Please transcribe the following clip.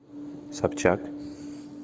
собчак